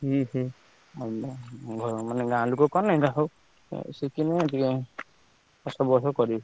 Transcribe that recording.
ହୁଁ ହୁଁ ମନେ ଗାଁ ଲୋକ କଲେ ଏମତିଆ ସବୁ ସିକିଲେ ଟିକେ ବର୍ଷକୁ ବର୍ଷ କରିବେ।